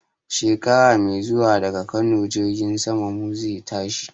Shekara mai zuwa daga Kano jirgin saman mu zai tashi